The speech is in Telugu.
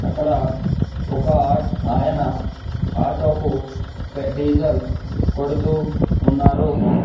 అక్కడ ఒక ఆ ఆయన ఆటో కు డీజెల్ కొడుతూ ఉన్నారు.